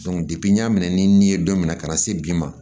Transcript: n y'a minɛ ni n ye don min na ka na se bi ma